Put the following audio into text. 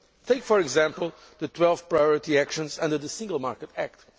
Take, for example, the 12 priority actions under the Single Market Act.